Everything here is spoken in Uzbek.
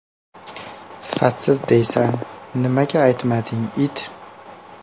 ...Sifatsiz deysan, nimaga aytmading, it!